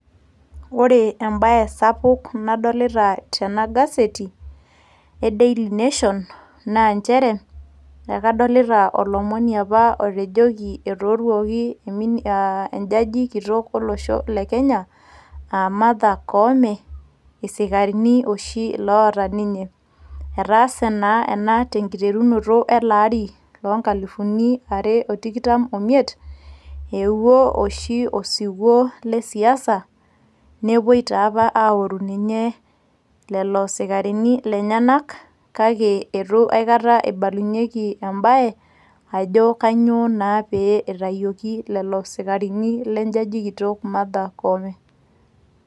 ore embaye sapuk nadolita tena gaseti e daily nation naa nchere kadolita olomoni apa otejoki apa etooruoki enjaji kitok olosho le kenya aa Martha koome isikarini oshi oota ninye etaase naa ena tenkiterunoto ele ari loo nkalifuni are o tikitam omiet eewuo oshi osiwuo lesiasa nepuoi taapa aoru ninye lelo sikarini lenyenak kake eitu aikata ibalunyieki embae ajo kanyio naa pee itayioki lelo sikarini lenjaji kitok Martha koome.